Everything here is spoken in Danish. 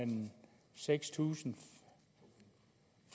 seks tusind